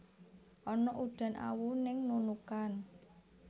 Ana udan awu ning Nunukan